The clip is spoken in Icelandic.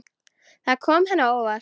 Það kom henni á óvart.